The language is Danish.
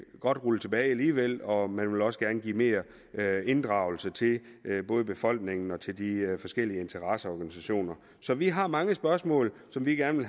godt rulle tilbage alligevel og man vil også gerne give mere inddragelse til både befolkningen og til de forskellige interesseorganisationer så vi har mange spørgsmål som vi gerne